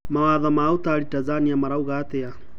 Mawatho ma utari Tanzania marauga atia?